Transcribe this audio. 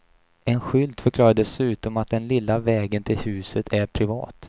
En skylt förklarar dessutom att den lilla vägen till huset är privat.